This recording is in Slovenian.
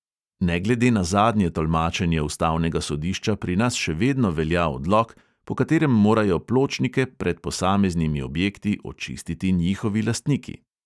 Ne glede na zadnje tolmačenje ustavnega sodišča pri nas še vedno velja odlok, po katerem morajo pločnike pred posameznimi objekti očistiti njihovi lastniki.